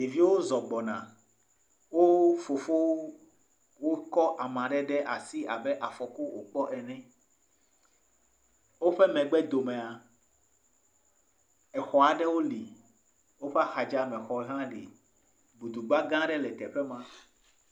Ɖeviwo zɔ gbɔna. wo fofowo kɔ ame ɖe asi abe afɔku ŋu kpɔ ene. Woƒe megbe domea exɔ aɖewo li, woƒe axa dzi exɔ aɖe hã li. Gudugba gã aɖe le teƒe ma.